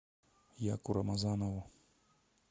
яку рамазанову